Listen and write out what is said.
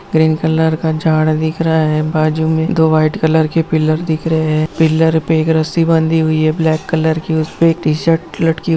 green colour का झाड़ दिख रहा है बाजु में दो वाइट कलर की पिलर दिख रहे हैं पिलर पे एक रस्सी बंधी हुई है ब्लैक कलर की टी-शर्ट लटकी हुई --